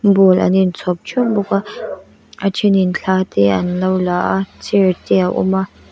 bowl an in chhawp theuh bawk a a then in thla te an lo la a chair te a awm a.